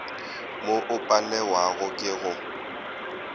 mo o palewago ke go